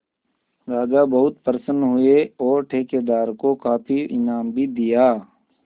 राजा बहुत प्रसन्न हुए और ठेकेदार को काफी इनाम भी दिया